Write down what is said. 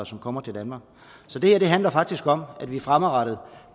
som kommer til danmark så det her handler faktisk om at vi fremadrettet